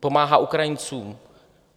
Pomáhá Ukrajincům,